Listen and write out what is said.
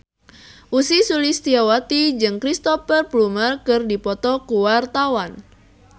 Ussy Sulistyawati jeung Cristhoper Plumer keur dipoto ku wartawan